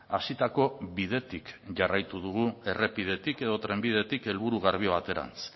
hasitako bidetik jarraituko dugu errepidetik edo trenbidetik helburu garbi baterantz